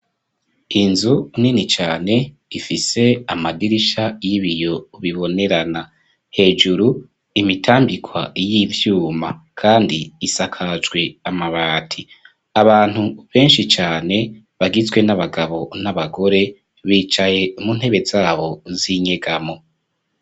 Inzu nini cane ifise amadirisha y'ibiyo bibonerana. Hejuru imitambikwa y'ivyuma kandi isakajwe amabati. Abantu benshi cane bagizwe n'abagabo n'abagore, bicaye mu ntebe zabo z'inyegamo.